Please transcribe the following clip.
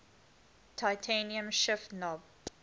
titanium shift knob